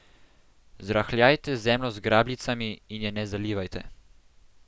Zrahljajte zemljo z grabljicami in je ne zalivajte.